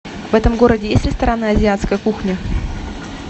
в этом городе есть рестораны азиатской кухни